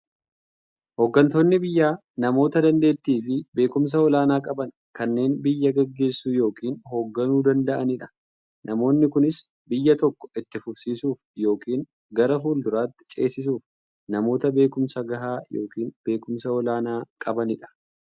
Hooggantoonni biyyaa namoota daanteettiifi beekumsa olaanaa qaban, kanneen biyya gaggeessuu yookiin hoogganuu danda'aniidha. Namoonni kunis, biyya tokko itti fufsiisuuf yookiin gara fuulduraatti ceesisuuf, namoota beekumsa gahaa yookiin beekumsa olaanaa qabaniidha.